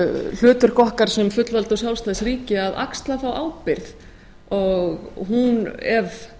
hlutverk okkar sem fullvalda og sjálfstætt ríki að axla þá ábyrgð ef